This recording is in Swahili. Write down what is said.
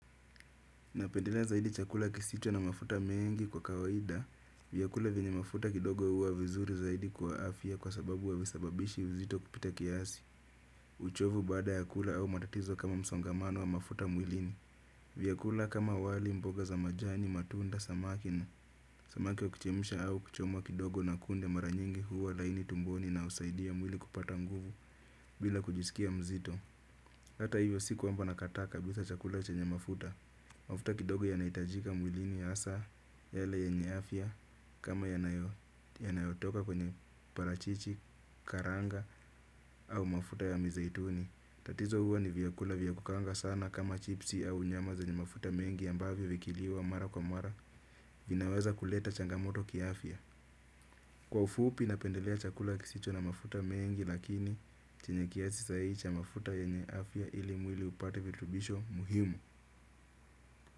Napendelea zaidi chakula kisicho na mafuta mengi kwa kawaida. Vyakula vienye mafuta kidogo huwa vizuri zaidi kwa afya kwa sababu havisababishi uzito kupita kiasi. Uchovu baada ya kula au matatizo kama msongamano wa mafuta mwilini. Vyakula kama wali mboga za majani, matunda, samaki samaki wa kuchemsha au kuchomwa kidogo na kunde mara nyingi huwa laini tumboni na husaidia mwili kupata nguvu bila kujisikia mzito. Hata hivyo si kwamba nakataa kabisa chakula chenye mafuta. Mafuta kidogo yanaitajika mwilini asa yale yenye afya kama yanayotoka kwenye parachichi, karanga au mafuta ya mizaituni. Tatizo huwa ni vyakula vyakukaanga sana kama chipsi au nyama za ni mafuta mengi ambavyo vikiliwa mara kwa mara vinaweza kuleta changamoto kiafya. Kwa ufupi napendelea chakula kisicho na mafuta mengi lakini chenye kiasi sahihi cha mafuta yenye afya ili mwili upate vitubisho muhimu.